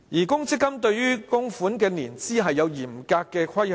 公積金對於供款的年資有嚴格的規限。